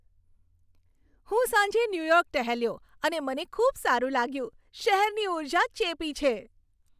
હું સાંજે ન્યૂયોર્ક ટહેલ્યો અને મને ખૂબ સારું લાગ્યું. શહેરની ઊર્જા ચેપી છે.